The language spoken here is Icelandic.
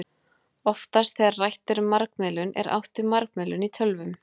Oftast þegar rætt er um margmiðlun er átt við margmiðlun í tölvum.